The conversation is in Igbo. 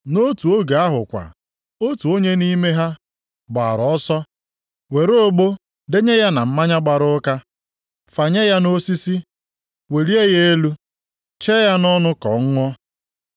Nʼotu oge ahụ kwa otu onye nʼime ha gbaara ọsọ were ogbo denye ya na mmanya gbara ụka, fanye ya nʼosisi, welie ya elu, chee ya ka ọ ṅụọ.